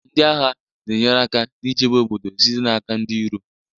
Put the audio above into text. ndị agha na-enyere aka n'ichebe obodo site n'aka ndị iro